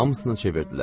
Hamısını çevirdilər.